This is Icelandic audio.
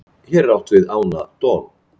hér er átt við ána don